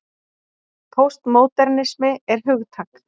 Póstmódernismi er hugtak.